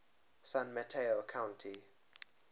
san mateo county